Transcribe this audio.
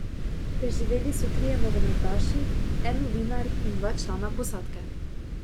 Preživeli so trije nogometaši, en novinar in dva člana posadke.